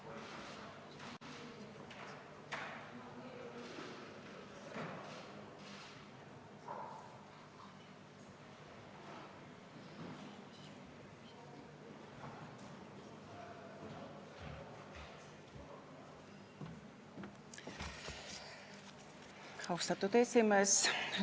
Austatud esimees!